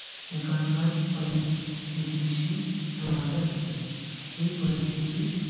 एकंदर परिस्थिती शी जुळ णारे असते हे परिस्थिती.